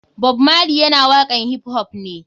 Bob marley yana waƙan hip hop ne.